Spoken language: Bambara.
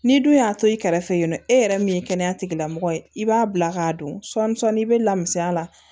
N'i dun y'a to i kɛrɛfɛ yen nɔ e yɛrɛ min ye kɛnɛya tigilamɔgɔ ye i b'a bila k'a don sɔni sɔɔni i bɛ lamisɛnya a la